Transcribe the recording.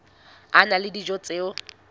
a na le dijo tse